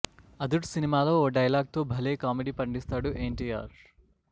అదుర్స్ సినిమాలో ఓ డైలాగ్ తో భలే కామెడీ పండిస్తాడు ఎన్టీఆర్